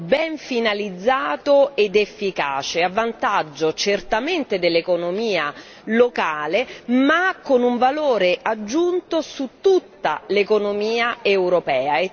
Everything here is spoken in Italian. ben finalizzato ed efficace, a vantaggio certamente dell'economia locale ma con un valore aggiunto su tutta l'economia europea.